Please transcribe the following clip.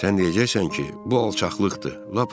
Sən deyəcəksən ki, bu alçaqlıqdır, lap əclafçılıqdır.